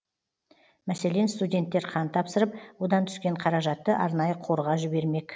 мәселен студенттер қан тапсырып одан түскен қаражатты арнайы қорға жібермек